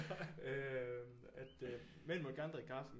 Øh at øh mænd måtte godt drikke kaffe